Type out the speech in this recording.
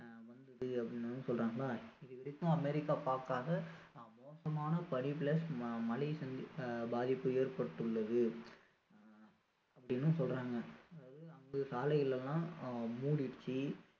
வந்திருக்கு அப்படின்னு சொல்றாங்களா இது வரைக்கும் அமெரிக்கா பார்க்காத மோசமான பனி plus மழை பாதிப்பு ஏற்பட்டுள்ளது ஆஹ் அப்படின்னு சொல்றாங்க அதாவது அங்க சாலைகள் எல்லாம் முடிருச்சி